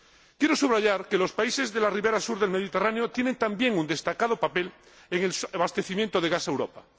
Quiero subrayar que los países de la ribera sur del Mediterráneo tienen también un destacado papel en el abastecimiento de gas a Europa.